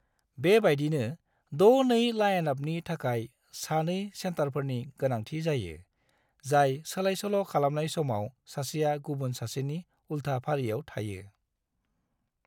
बेबायदिनो 6-2 लाइनआपनि थाखाय सानै सेटारफोरनि गोनांथि जायो, जाय सोलायसोल' खालामनाय समाव सासेया गुबुन सासेनि उल्था फारियाव थायो।